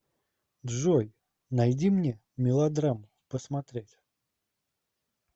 джой найди мне мелодраму посмотреть